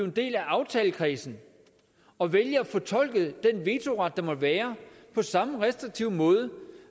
en del af aftalekredsen og vælge at fortolke den vetoret der måtte være på samme restriktive måde